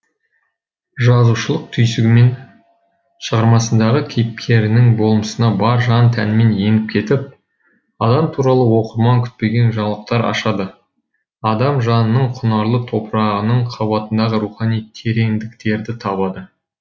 жазушылық түйсігімен шығармасындағы кейіпкерінің болмысына бар жан тәнімен еніп кетіп адам туралы оқырман күтпеген жаңалықтар ашады адам жанының құнарлы топырағының қабатындағы рухани тереңдіктерді табады